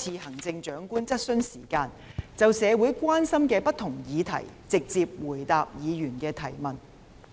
席行政長官質詢時間，就社會關心的不同議題直接回答議員的質詢。